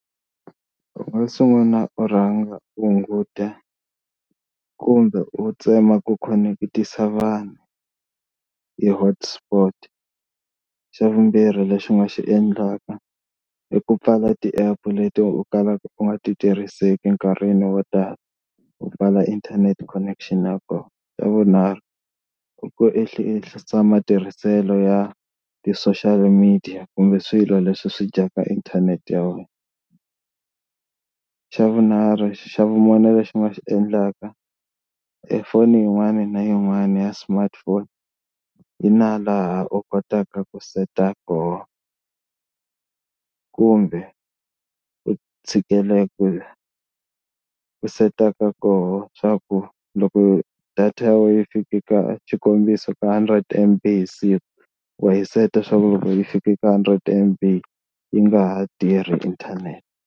U nga sungula u rhanga u hunguta kumbe u tsema ku khoneketisa vanhu hi hotsport. Xa vumbirhi lexi u nga xi endlaka i ku pfala ti-app leti u kalaka u nga ti tirhiseki enkarhini wo tala u pfala internet connection ya kona. Xa vunharhu i ku ehlisa enhlisa matirhiselo ya ti-social media kumbe swilo leswi swi dyaka inthanete ya wena. Xa vunharhu xa vumune lexi i nga xi endlaka ephone yin'wana na yin'wana ya smartphone yi na laha u kotaka ku seta koho kumbe ku tshikelela u setaka koho swa ku loko data ya wena yi fike ka xikombiso ka hundred M_B hi siku wa yi seta swaku loko yi fike ka hundred M_B yi nga ha tirhi inthanete.